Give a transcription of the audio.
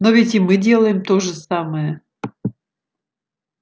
но ведь и мы делаем то же самое